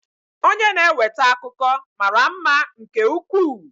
Onye na-eweta akụkọ mara mma nke ukwuu.